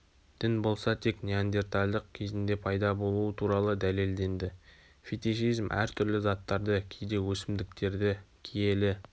дін болса тек неандерталдық кезінде пайда болуы туралы дәлелденді фетишизм әр түрлі заттарды кейде өсімдіктерді киелі